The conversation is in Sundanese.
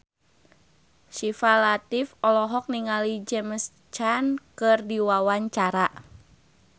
Syifa Latief olohok ningali James Caan keur diwawancara